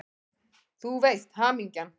Þú veist: Hamingjan!